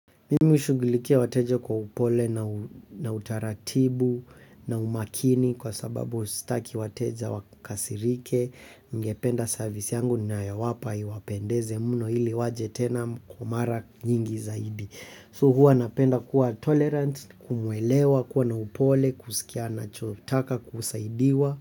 Mimi hushugulikia wateja kwa upole na utaratibu na umakini kwa sababu sitaki wateja wakasirike, ningependa service yangu ninayowapa iwapendeze mno ili waje tena kwa mara nyingi zaidi. So huwa napenda kuwa tolerant, kumuwelewa, kuwa na upole, kusikia anacho taka kusaidiwa.